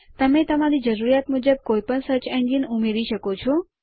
તમે તમારી જરૂરિયાત મુજબ કોઇ પણ સર્ચ એન્જિન ઉમેરી શકો છો